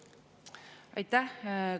Aitäh!